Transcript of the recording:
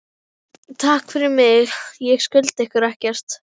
Takk fyrir mig, ég skulda ykkur ekkert.